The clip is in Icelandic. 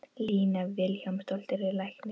Lína Vilhjálmsdóttir er læknir.